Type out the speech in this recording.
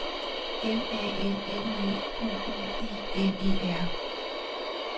M A N N E Q U I N E R